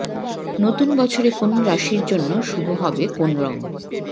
নতুন বছরে কোন রাশির জন্য শুভ হবে কোন রং